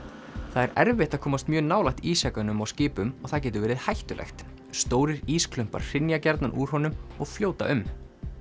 það er erfitt að komast mjög nálægt ísjakanum á skipum og það getur verið hættulegt stórir hrynja gjarnan úr honum og fljóta um